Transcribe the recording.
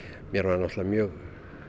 mér var náttúrulega mjög